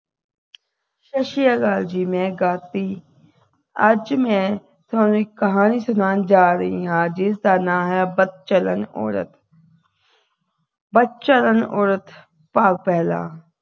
ਸਤਿ ਸ਼੍ਰੀ ਅਕਾਲ ਜੀ ਮੈਂ ਗਾਤੀ ਅੱਜ ਮੈਂ ਤੁਹਾਨੂੰ ਇਕ ਕਹਾਣੀ ਸੁਣਾਉਣ ਜਾ ਰਹੀ ਹਾਂ ਜਿਸਦਾ ਨਾ ਹੈ ਬਦਚਲਣ ਔਰਤ ਭਾਗ ਪਹਿਲਾ